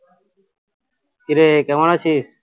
কিরে কেমন আছিস